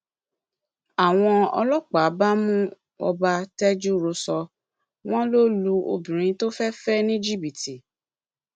àwọn ọlọpàá bá mú ọba tejúrosọ wọn lọ lu obìnrin tó fẹẹ fẹ ní jìbìtì